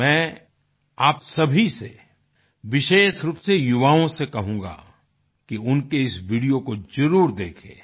तो मैं आप सभी से विशेष रूप से युवाओं से कहूँगा कि उनके इस वीडियो को जरुर देखें